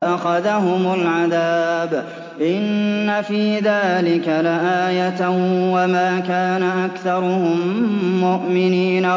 فَأَخَذَهُمُ الْعَذَابُ ۗ إِنَّ فِي ذَٰلِكَ لَآيَةً ۖ وَمَا كَانَ أَكْثَرُهُم مُّؤْمِنِينَ